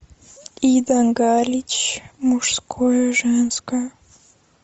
ида галич мужское и женское